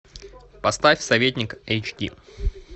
поставь советник эйч ди